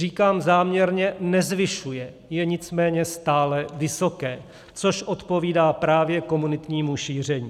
Říkám záměrně nezvyšuje, je nicméně stále vysoké, což odpovídá právě komunitnímu šíření.